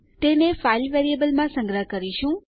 તેને ફાઇલ વેરિયેબલમાં સંગ્રહ કરીશું